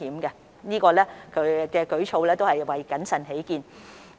他們這項舉措是為了謹慎起見。